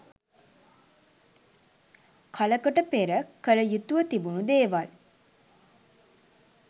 කලකට පෙර කළ යුතුව තිබුණ දේවල්.